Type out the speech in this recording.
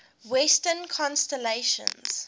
western constellations